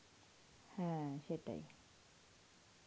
হ্যাঁ সেটাই.